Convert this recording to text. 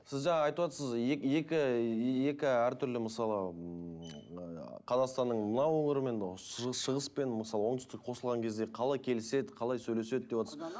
сіз жаңа айтып отырсыз екі екі әртүрлі мысалы ммм ы қазақстанның мына өңірімен шығыс пен мысалы оңтүстік қосылған кезде қалай келіседі қалай сөйлеседі деватсыз